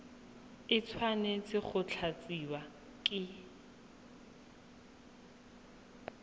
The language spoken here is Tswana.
e tshwanetse go tlatsiwa ke